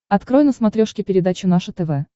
открой на смотрешке передачу наше тв